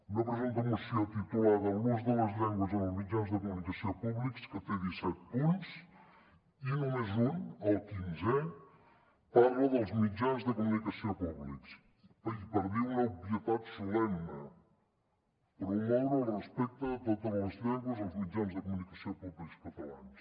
una presumpta moció titulada l’ús de les llengües en els mitjans de comunicació públics que té disset punts i només un el quinzè parla dels mitjans de comunicació públics i per dir una obvietat solemne promoure el respecte a totes les llengües als mitjans de comunicació públics catalans